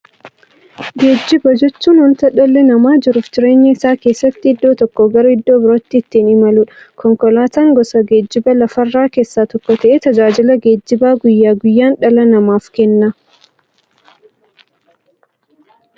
Geejjiba jechuun wanta dhalli namaa jiruuf jireenya isaa keessatti iddoo tokkoo gara iddoo birootti ittiin imaluudha. Konkolaatan gosa geejjibaa lafarraa keessaa tokko ta'ee, tajaajila geejjibaa guyyaa guyyaan dhala namaaf kenna.